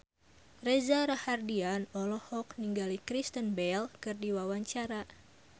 Reza Rahardian olohok ningali Kristen Bell keur diwawancara